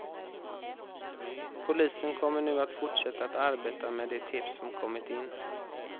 Polisen kommer nu att fortsätta att arbeta med de tips som kommit in.